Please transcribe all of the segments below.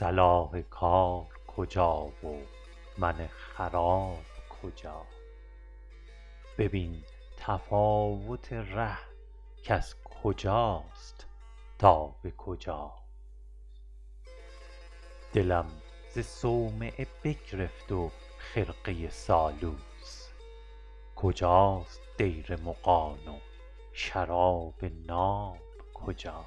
صلاح کار کجا و من خراب کجا ببین تفاوت ره کز کجاست تا به کجا دلم ز صومعه بگرفت و خرقه سالوس کجاست دیر مغان و شراب ناب کجا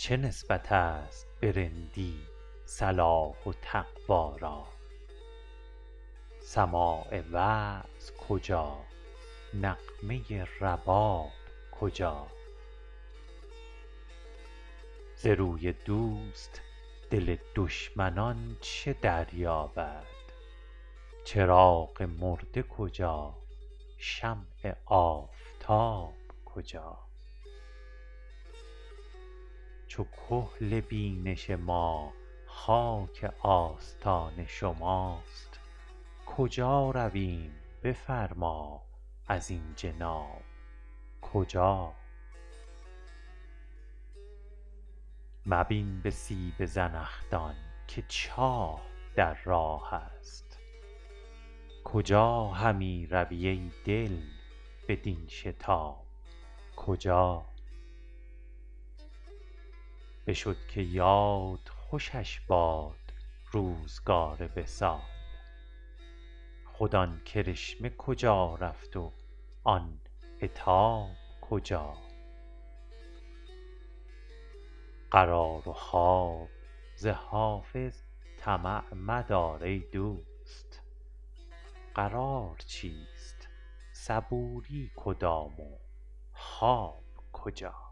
چه نسبت است به رندی صلاح و تقوا را سماع وعظ کجا نغمه رباب کجا ز روی دوست دل دشمنان چه دریابد چراغ مرده کجا شمع آفتاب کجا چو کحل بینش ما خاک آستان شماست کجا رویم بفرما ازین جناب کجا مبین به سیب زنخدان که چاه در راه است کجا همی روی ای دل بدین شتاب کجا بشد که یاد خوشش باد روزگار وصال خود آن کرشمه کجا رفت و آن عتاب کجا قرار و خواب ز حافظ طمع مدار ای دوست قرار چیست صبوری کدام و خواب کجا